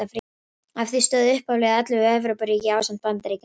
Að því stóðu upphaflega ellefu Evrópuríki ásamt Bandaríkjunum.